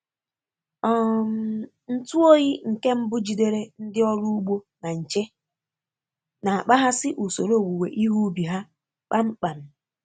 um Ntu oyi nke mbụ jidere ndị ọrụ ugbo na nche, na-akpaghasị usoro owuwe ihe ubi ha kpamkpam